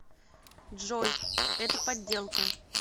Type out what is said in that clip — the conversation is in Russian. джой это подделка